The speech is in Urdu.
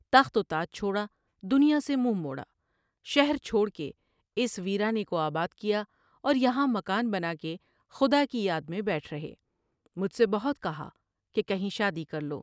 تخت و تاج چھوڑا ، دنیا سے منہ موڑا ، شہر چھوڑ کے اس ویرانے کو آباد کیا اور یہاں مکان بنا کے خدا کی یاد میں بیٹھ ر ہے ۔مجھ سے بہت کہا کہ کہیں شادی کرلو ۔